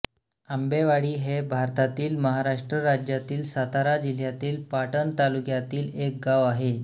आंबेवाडी हे भारतातील महाराष्ट्र राज्यातील सातारा जिल्ह्यातील पाटण तालुक्यातील एक गाव आहे